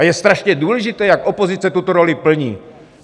A je strašně důležité, jak opozice tuto roli plní.